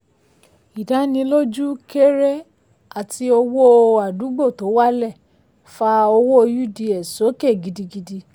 ìdánilójú kéré àti owó àdúgbò tó wálẹ̀ fa owó uds sókè gidigidi.